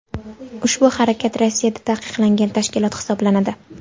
ushbu harakat Rossiyada taqiqlangan tashkilot hisoblanadi.